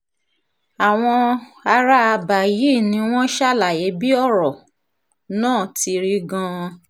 àwọn ará àbá yìí ni wọ́n ṣàlàyé bí ọ̀rọ̀ náà ti rí gan-an